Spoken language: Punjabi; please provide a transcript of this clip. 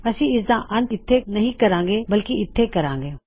ਅਸੀਂ ਇਸਦਾ ਅੰਤ ਇਥੇ ਨਹੀ ਕਰਾਂਗੇ ਬਲਕਿ ਇਥੇ ਕਰਾਂਗੇ